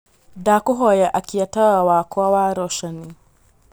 ndakūhoya akia tawa wakwa wa roshanī